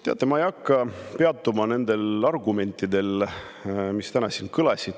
Teate, ma ei hakka peatuma nendel argumentidel, mis täna siin kõlasid.